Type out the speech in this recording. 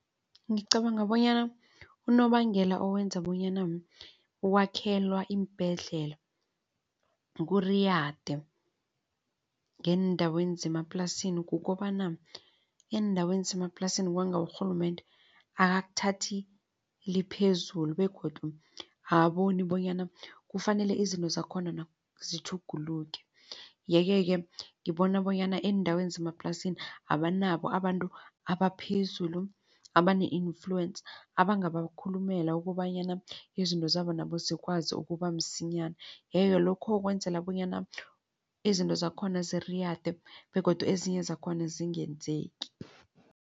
Ngicabanga bonyana unobangela owenza bonyana ukwakhelwa iimbhedlela kuriyade ngeendaweni zemaplasini kukobana eendaweni zemaplasini kwanga urhulumende akakuthathi liphezulu begodu akaboni bonyana kufanele izinto zakhona zitjhuguluke. Yeke-ke ngibona bonyana eendaweni zemaplasini abanabo abantu abaphezulu abane i-fluence abangabakhulumela ukobanyana izinto zabo nabo zikwazi ukubamsinyana. Yeke lokho kwenzela bonyana izinto zakhona ziriyade begodu ezinye zakhona zingenzeki.